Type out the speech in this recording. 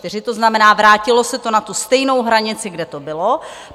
To znamená, vrátilo se to na tu stejnou hranici, kde to bylo.